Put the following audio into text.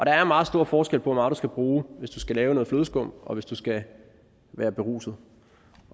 er meget stor forskel på hvor meget du skal bruge hvis du skal lave noget flødeskum og hvis du skal være beruset